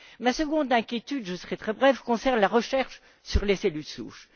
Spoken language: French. Ma seconde inquiétude je serai très brève concerne la recherche sur les cellules souches.